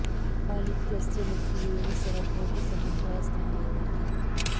अनित्यस्य नित्येन सह कोऽपि सम्बन्धः अस्थाने एव इति